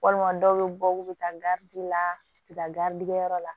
Walima dɔw bɛ bɔ u bɛ taa la u bɛ taa yɔrɔ la